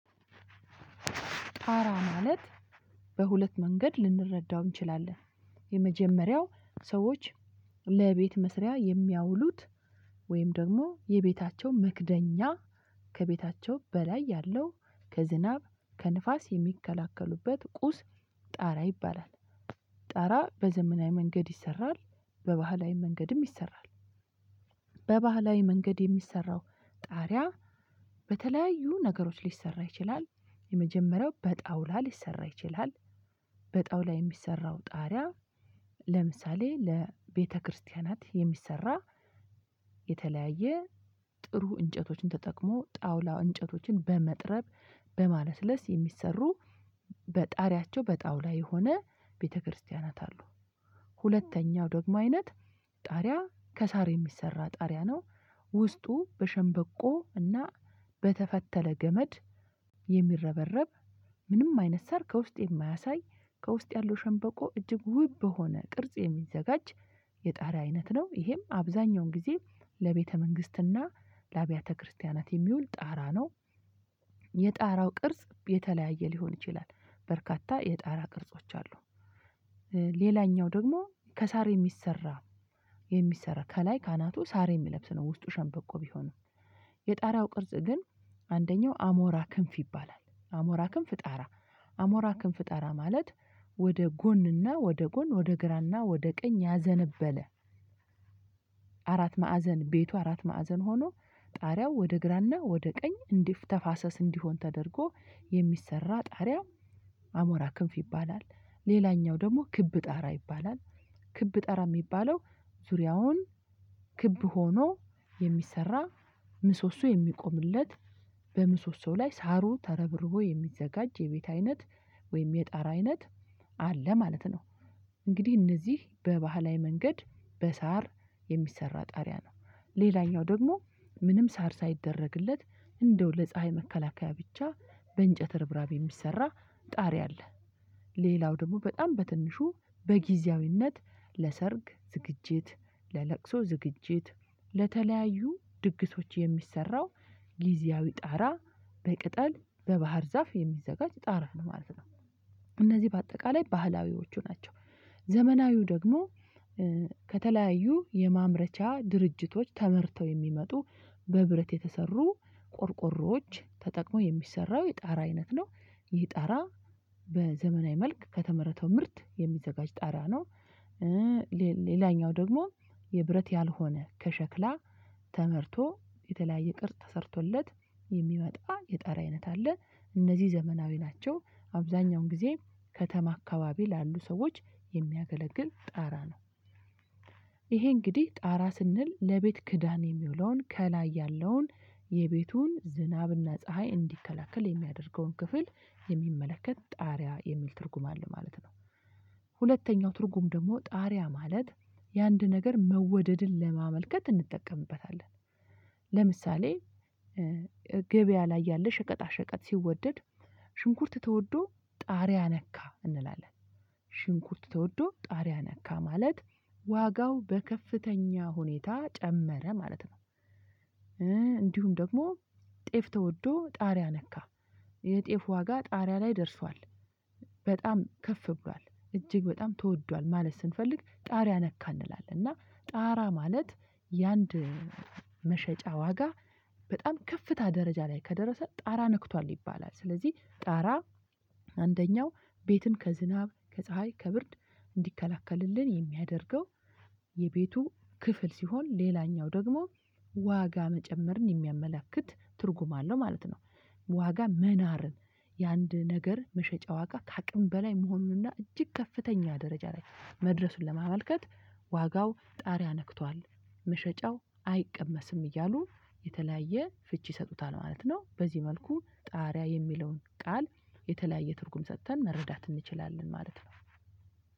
አራ ማለት በሁለት መንገድ ልንረዳው እንችላለን። የመጀመሪያው ሰዎች ለቤት መስሪያ የሚያውሉት ወይም ደግሞ የቤታቸው መክደኛ ከቤታቸው በላይ ያለው ከዝናብ ከንፋስ የሚከላከሉበት ቁስ ጣራ ይባላል። ጣራ በዘመናዊ መንገድ ይሰራል በባህላዊ መንገድም ይሰራል። በባህላዊ መንገድ የሚሰራው ጣሪያ በተለያዩ ነገሮች ሊሰራ ይችላል። የመጀመሪያው በጣውላ ሊሰራ ይችላል። በጣውላ የሚሰራው ጣሪያ ለምሳሌ ለቤተክርስቲያናት የሚሰራ የተለያየ ጥሩ እንጨቶችን ተጠቅሞ ጣውላ እንጨቶችን በመጥረብ በማለስለስ የሚሰሩ በጣሪያቸው በጣውላ የሆነ ቤተክርስቲያናት አሉ። ሁለተኛው ደግሞ አይነት ጣሪያ ከሳር የሚሰራ ጣሪያ ነው። ውስጡ በሸንበቆ እና በተፈተለ ገመድ የሚረበረብ ምንም አይነት ሳር ከውስጥ የማያሳይ ከውስጥ ያለው ሸንበቆ እጅግ ውብ በሆነ ቅርጽ የሚዘጋጅ የጣሪያ አይነት ነው። ይሄም አብዛኛውን ጊዜ ለቤተ መንግስትና ለአብያተ ክርስቲያናት የሚውል ጣራ ነው። የጣራው ቅርጽ የተለያየ ሊሆን ይችላል በርካታ የጣራ ቅርጾች አሉ። ሌላኛው ደግሞ ከሳር የሚሰራ የሚሰራ ከላይ ከአናቱ ሳር የሚለብስ ነው። ውስጡ ሸንበቆ ቢሆንም የጣሪያው ቅርጽ ግን አንደኛው አሞራ ክንፍ ይባላል አሞራ ክንፍ ጣራ አሞራ ክንፍ ጣራ ማለት ወደ ጎንና ወደ ጎን ወደ ግራና ወደ ቀኝ ያዘነበለ። አራት ማዕዘን ቤቱ አራት ማዕዘን ሆኖ ጣሪያው ወደ ግራና ወደ ቀኝ እንዲተፋሰስ እንዲሆን ተደርጎ የሚሰራ ጣሪያ። አሞራ ክንፍ ይባላል። ሌላኛው ደግሞ ክብ ጣራ ይባላል። ክብ ጣራ የሚባለው ዙሪያውን ክብ ሆኖ የሚሰራ ምሶሶ የሚቆምለት በምሶሶው ላይ ሳሩ ተረብርቦ የሚዘጋጅ የቤት አይነት ወይም የጣራ አይነት አለ ማለት ነው። እንግዲህ እነዚህ በባህላዊ መንገድ በሳር የሚሰራ ጣሪያ ነው። ሌላኛው ደግሞ ምንም ሳር ሳይደረግለት እንደው ለፀሀይ መከላከያ ብቻ በእንጨት ርብራቢ የሚሰራ ጣሪ አለ። ሌላው ደግሞ በጣም በትንሹ በጊዜያዊነት ለሰርግ ዝግጅት ለለቅሶ ዝግጅት ለተለያዩ ድግሶች የሚሰራው ጊዜያዊ ጣራ በቅጠል በባህር ዛፍ የሚዘጋጅ ጣራ ነው ማለት ነው። እነዚህ በአጠቃላይ ባህላዊዎቹ ናቸው። ዘመናዊው ደግሞ ከተለያዩ የማምረቻ ድርጅቶች ተመርተው የሚመጡ በብረት የተሰሩ ቆርቆሮዎች ተጠቅሞ የሚሰራው የጣራ አይነት ነው። ይህ ጣራ በዘመናዊ መልክ ከተመረተው ምርት የሚዘጋጅ ጣራ ነው። ሌላኛው ደግሞ የብረት ያልሆነ ከሸክላ ተመርቶ የተለያየ ቅርጾ ተሰርቶለት የሚመጣ የጣራ አይነት አለ። እነዚህ ዘመናዊ ናቸው። አብዛኛውን ጊዜ ከተማ አካባቢ ላሉ ሰዎች የሚያገለግል ጣራ ነው። ይሄ እንግዲህ ጣራ ስንል ለቤት ክዳን የሚውለውን ከላይ ያለውን የቤቱን ዝናብና ፀሀይ እንዲከላከል የሚያደርገውን ክፍል የሚመለከት ጣሪያ የሚል ትርጉም አለ። ማለት ሁለተኛው ትርጉም ደግሞ ጣሪያ ማለት የአንድ ነገር መወደድን ለማመልከት እንጠቀምበታለን። ለምሳሌ ገበያ ላይ ያለ ሸቀጣ ሸቀጥ ሲወደድ ሽንኩርት ተወዶ ጣሪያ ነካ እንላለን። ሽንኩርት ተወዶ ጣሪያ ነካ ማለት ዋጋው በከፍተኛ ሁኔታ ጨመረ ማለት ነው። እንዲሁም ደግሞ ጤፍ ተወዶ ጣሪያ ነካ። የጤፍ ዋጋ ጣሪያ ላይ ደርሷል። በጣም ከፍ ብሏል እጅግ በጣም ተወዷል ማለት ስንፈልግ ጣራ ነካ እንላለን እና ጣራ ማለት የአንድ መሸጫ ዋጋ በጣም ከፍታ ደረጃ ላይ ከደረሰ ጣራ ነክቷል ይባላል። ስለዚህ ጣራ አንደኛው ቤትን ከዝናብ ከፀሀይ ከብርድ እንዲከላከልልን የሚያደርገው የቤቱ ክፍል ሲሆን ሌላኛው ደግሞ ዋጋ መጨመርን የሚያመለክት ትርጉም አለው ማለት ነው። ዋጋ መናር የአንድ ነገር መሸጫ ዋጋ ከአቅም በላይ መሆኑንና እጅግ ከፍተኛ ደረጃ ላይ መድረሱን ለማመልከት ዋጋው ጣሪያ ነክቷል። መሸጫው አይቀመስም እያሉ የተለያየ ፍቺ ይሰጡታል ማለት ነው። በዚህ መልኩ ጣሪያ የሚለውን ቃል የተለያየ ትርጉም ሰጥተን መረዳት እንችላለን ማለት ነው።